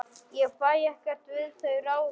Ég fæ ekkert við þau ráðið.